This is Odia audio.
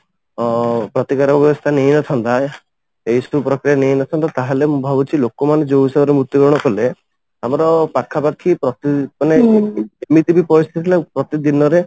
ଅଂ ପ୍ରତିକାର ବ୍ୟବସ୍ଥା ନେଇଆସନ୍ତା ଏଇ ନେଇନଥାନ୍ତୁ ତାହେଲେ ମୁଁ ଭାବୁଛି ଲୋକ ମାନେ ଯୋଉ ହିସାବରେ ମୃତ୍ୟୁ ବରଣ କଲେ ଆମର ପାଖ ପାଖି ପ୍ରତି ଏମିତି ବି ପରିସ୍ଥିତି ହେଲା ପ୍ରତି ଦିନ ରେ